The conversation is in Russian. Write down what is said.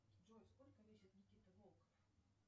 джой сколько весит никита волков